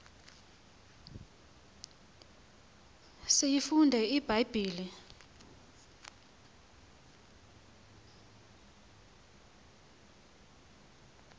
siyifunde ibha yibhile